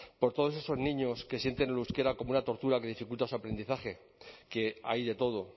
por todos esos niños que sienten el euskera como una tortura que dificulta su aprendizaje que hay de todo